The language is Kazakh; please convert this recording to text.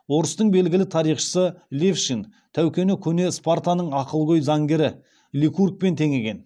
орыстың белгілі тарихшысы левшин тәукені көне спартаның ақылгөй заңгері ликургпен теңеген